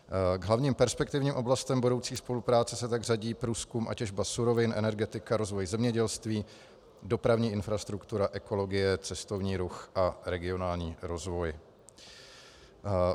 K hlavním perspektivním oblastem budoucí spolupráce se tak řadí průzkum a těžba surovin, energetika, rozvoj zemědělství, dopravní infrastruktura, ekologie, cestovní ruch a regionální rozvoj.